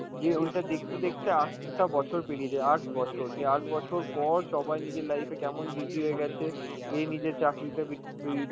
যে ওইটা দেখতে দেখতে আটটা বছর পেরিয়ে যায়, আট বছর, যে আট বছর পর সবাই নিজের life এ কেমন busy হয়ে গেছে, এ নিজের চাকরিতে